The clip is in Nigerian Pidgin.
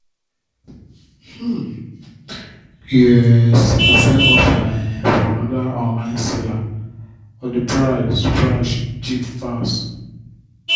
um you um see the same offer um for another online saler but the price price cheap pass